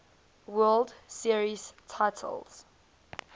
world series titles